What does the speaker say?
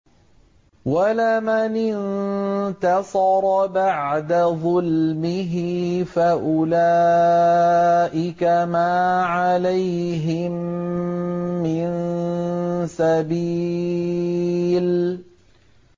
وَلَمَنِ انتَصَرَ بَعْدَ ظُلْمِهِ فَأُولَٰئِكَ مَا عَلَيْهِم مِّن سَبِيلٍ